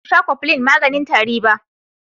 Basu sha cofflin maganin tari ba.